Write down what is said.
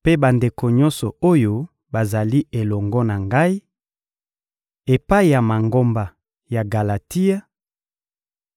mpe bandeko nyonso oyo bazali elongo na ngai; Epai ya Mangomba ya Galatia: